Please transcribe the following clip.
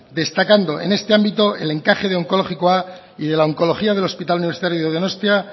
destacando en este ámbito el encaje onkologikoa y de la oncología del hospital universitario de donostia